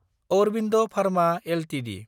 Aurobindo Pharma Ltd